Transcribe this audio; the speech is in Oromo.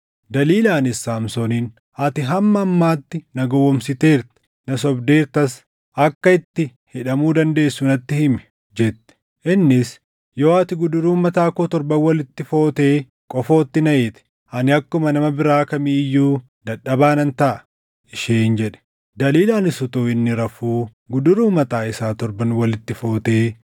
Daliilaanis Saamsooniin, “Ati hamma ammaatti na gowwoomsiteerta; na sobdeertas. Akka itti hidhamu dandeessu natti himi” jette. Innis, “Yoo ati guduruu mataa koo torban walitti footee qofootti na hiite, ani akkuma nama biraa kamii iyyuu dadhabaa nan taʼa” isheen jedhe. Daliilaanis utuu inni rafuu guduruu mataa isaa torban walitti footee,